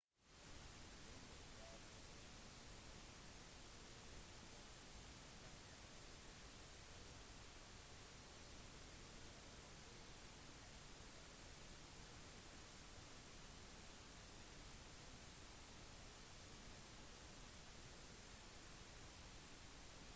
under førsesongtreningen på coverciano i italia øvde jarque tidligere i dag han overnattet på lagets hotell før den planlagte kampen mot bolonia på søndagen